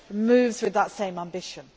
move with that same ambition.